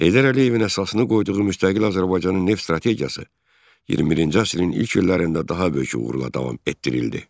Heydər Əliyevin əsasını qoyduğu müstəqil Azərbaycanın neft strategiyası 21-ci əsrin ilk illərində daha böyük uğurla davam etdirildi.